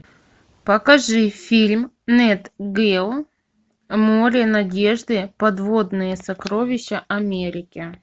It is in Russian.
покажи фильм нет гео море надежды подводные сокровища америки